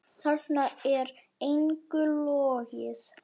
Þarna er engu logið.